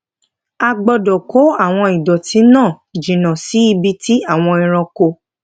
a gbódò kó àwọn ìdòtí náà jìnnà sí ibi tí àwọn ẹranko